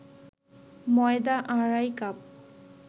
ময়দা আড়াই কাপ